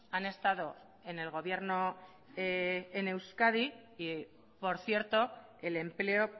han estado en el gobierno en euskadi y por cierto el empleo